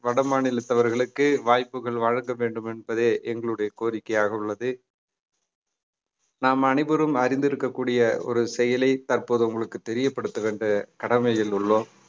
வட மாநிலத்தவர்களுக்கு வாய்ப்புகள் வழங்க வேண்டும் என்பதே எங்களுடைய கோரிக்கையாக உள்ளது நாம் அனைவரும் அறிந்திருக்கக்கூடிய ஒரு செயலை தற்போது உங்களுக்கு தெரியப்படுத்துகின்ற கடமையில் உள்ளோம்